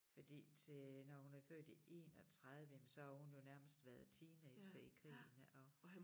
Fordi til når hun er født i 31 jamen så har hun jo nærmest været teenager i krigen ja og